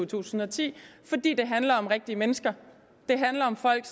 tusind og ti fordi det handler om rigtige mennesker det handler om folk